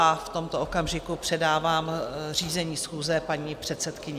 A v tomto okamžiku předávám řízení schůze paní předsedkyni.